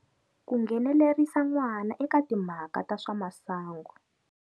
Ku nghenelerisa n'wana eka timhaka ta swa masangu.